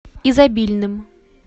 изобильным